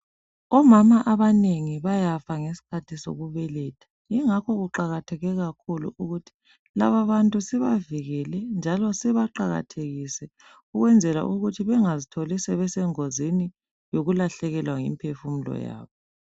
Omama abanegi bayafa ngesikhathi sokubeletha yingakho kuqakatheke kakhulu ukuthi lababantu sibavikele njalo sibaqakathekise ukwenzela ukuthi bengazitholi sebeesengozini yokulahlekelwa yimphefumulo yabo.